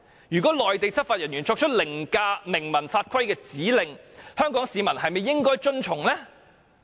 如果內地執法人員作出凌駕明文法規的指令，香港市民是否應該遵從呢？